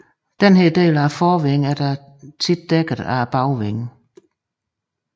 Denne del af forvingen er dog ofte dækket af bagvingen